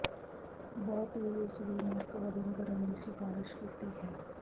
ਬਹੁਤ ਵੀ ਉਸ ਦੀ ਨੱਕ ਵਗਣ ਕਰਨ ਦੀ ਸਿਫਾਰਸ਼ ਕੀਤੀ ਹੈ